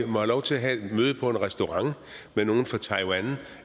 have lov til at have et møde på en restaurant med nogle fra taiwan